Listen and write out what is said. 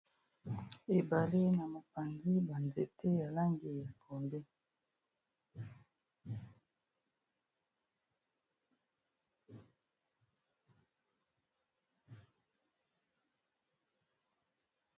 Ebale na mopanzi ya nzete ya langi ya pondu.